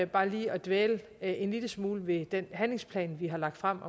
bare lige at dvæle en lille smule ved den handlingsplan vi har lagt frem